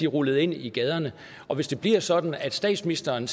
rullede ind i gaderne og hvis det bliver sådan at statsministeren